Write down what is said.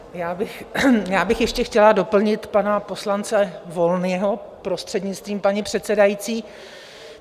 Já bych ještě chtěla doplnit pana poslance Volného, prostřednictvím paní předsedající.